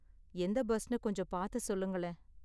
எந்த பஸ்னு கொஞ்சம் பாத்து சொல்லுங்களேன்